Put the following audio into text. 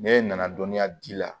Ne nana dɔnniya di la